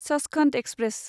Sachkhand express